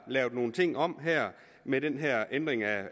lavet nogle ting om med den her ændring